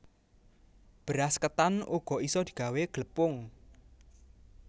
Beras ketan uga isa digawé glepung